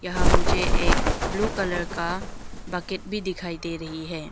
यहां मुझे एक ब्लू कलर का बकेट भी दिखाई दे रही है।